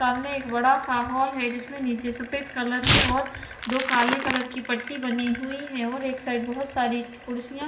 सामने एक बड़ा सा हॉल है जिसमें नीचे सफेद कलर है और दो काले कलर की पट्टी बनी हुई है और एक साइड बहोत सारी कुर्सियां--